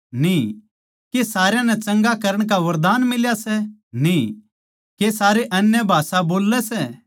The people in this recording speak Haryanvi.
के सारया नै चंगा करण का वरदान मिल्या सै न्ही के सारे अन्य भाषा बोल्लै सै न्ही